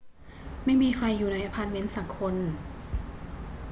ไม่มีใครอยู่ในอะพาร์ตเมนต์สักคน